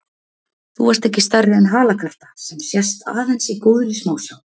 Þú varst ekki stærri en halakarta, sem sést aðeins í góðri smásjá.